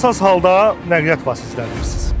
Nasaz halda nəqliyyat vasitələri sürürsünüz.